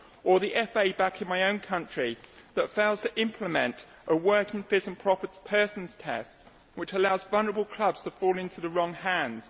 or the FA back in my own country that fails to implement a working fit and proper persons test, which allows vulnerable clubs to fall into the wrong hands.